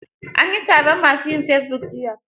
An yi taron ma su yin fesibuk jiya.